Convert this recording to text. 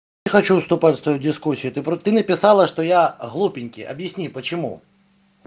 хочу вступать с тобой в дискуссию ты про ты написала что я глупенький объясни почему